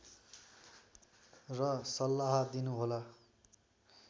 र सल्लाह दिनु होला